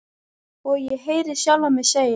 Og ég heyri sjálfa mig segja